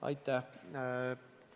Aitäh!